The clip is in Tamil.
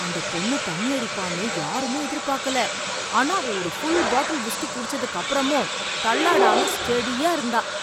அந்தப் பொண்ணு தண்ணியடிப்பான்னு யாருமே எதிர்பார்க்கல, ஆனா அவ ஒரு ஃபுல் பாட்டில் விஸ்கி குடிச்சதுக்கு அப்புறமும் தள்ளாடாம ஸ்டெடியா இருந்தா.